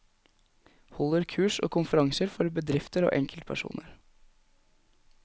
Holder kurs og konferanser for bedrifter og enkeltpersoner.